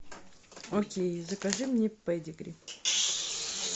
окей закажи мне педигри